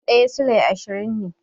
Fan ɗaya Sulai ashirin ne